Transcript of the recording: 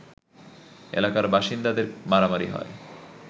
এলাকার বাসিন্দাদের মারামারি হয়